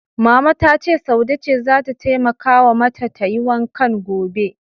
Mama ta ce Saude ce zata taimakawa mata tayi wankan gobe.